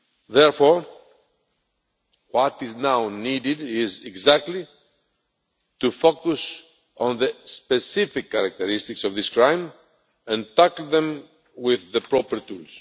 Therefore, what is needed now is exactly to focus on the specific characteristics of this crime and tackle them with the proper tools.